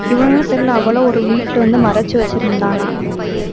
தெரியலே அவளா ஒரு வீட்டுல வந்து மறைச்சு வச்சிருந்தாளாம்.